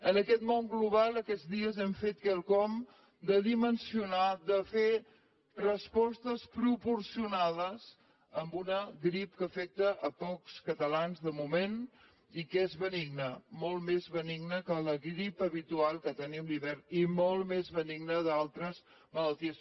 en aquest món global aquests dies hem fet quelcom de dimensionar de fer respostes proporcionades a una grip que afecta pocs catalans de moment i que és benigna molt més benigna que la grip habitual que tenim a l’hivern i molt més benigna que altres malalties